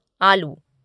आलू